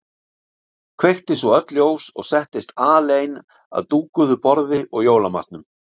Kveikti svo öll ljós og settist alein að dúkuðu borði og jólamatnum.